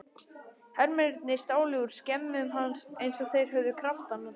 Hermennirnir stálu úr skemmum hans eins og þeir höfðu kraftana til.